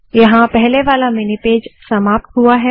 यहाँ पहले वाला मिनी पेज समाप्त हुआ है